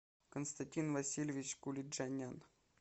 константин васильевич кулиджанян